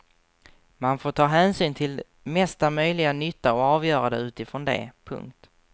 Man får ta hänsyn till mesta möjliga nytta och avgöra det utifrån det. punkt